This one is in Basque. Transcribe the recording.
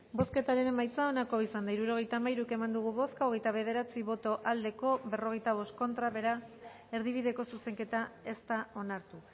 bozketaren emaitza onako izan da hirurogeita hamairu eman dugu bozka hogeita bederatzi boto aldekoa cuarenta y cinco contra beraz erdibideko zuzenketa ez da onartu